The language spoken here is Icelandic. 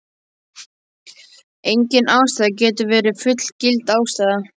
Engin ástæða getur verið fullgild ástæða.